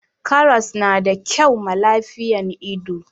karras na da kyau ma lafiyan ido